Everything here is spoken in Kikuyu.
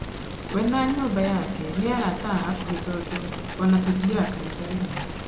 We na nyũmba yake nĩ arata a hakuhĩ tondũ ona tũthiaga kanitha ĩmwe